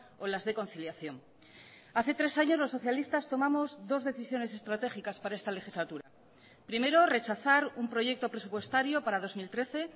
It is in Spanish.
o las de conciliación hace tres años los socialistas tomamos dos decisiones estratégicas para esta legislatura primero rechazar un proyecto presupuestario para dos mil trece